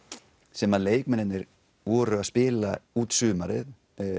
sem leikmennirnir voru að spila út sumarið